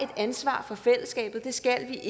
ansvar for fællesskabet det skal